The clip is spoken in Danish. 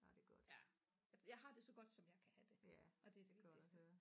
Ja jeg har det så godt som jeg kan have det og det er det vigtigste